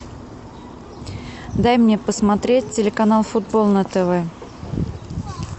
дай мне посмотреть телеканал футбол на тв